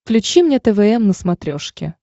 включи мне твм на смотрешке